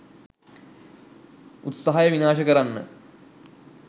උත්සාහය විනාශ කරන්න